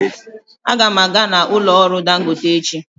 Aga m aga n'ụlọ ọrụ dangote echi.